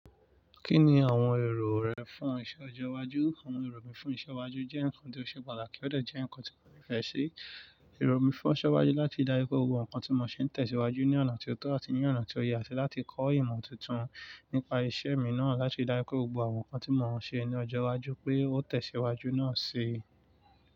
Kí ni àwọn èrò rẹ fún iṣẹ ọjọ́ iwájú? Àwọn èrò mi fún iṣẹ́ iwájú jẹ́ ǹkan tó ṣe pàtàkì ó dàjà ǹkan tí mo nífẹ̀ẹ́ sí. Èrò mi fún iṣẹ́ iwájú láti dára pé ohun àwọn nǹkan tí mò ń ṣe ń tẹ̀síwájú ní ọ̀nà tó tọ́ àti ní ọ̀nà tó yẹ, àti láti kọ́ ìmọ̀ tuntun nípa iṣẹ́ mi náà láti dára pé gbogbo àwọn ǹkan tí mò ń ṣe ní ọjọ́ iwájú pé ó tẹ̀síwájú náà ṣe.